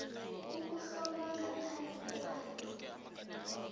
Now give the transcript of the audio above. ukuhlolwa ngaphambi kwayo